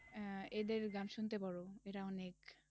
আহ এদের গান শুনতে পারো, এরা অনেক